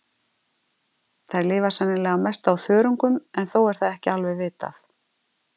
Þær lifa sennilega að mestu á þörungum en þó er það ekki alveg vitað.